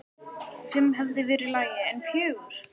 Fimm hefði verið í lagi, en fjögur?!?!?